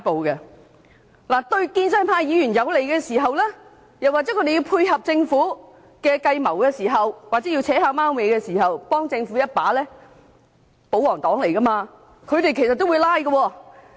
當事情對建制派議員有利，又或要配合政府的計謀，要暗中幫政府一把時，身為保皇黨的他們也會"拉布"。